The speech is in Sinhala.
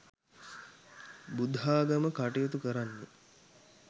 බුද්ධාගම කටයුතු කරන්නේ